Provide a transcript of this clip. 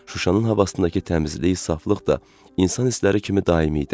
Şuşanın havasındakı təmizlik, saflıq da insan hissləri kimi daimi idi.